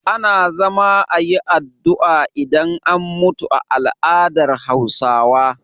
Ana zama ayi addu'a idan an mutu a al adar hausawa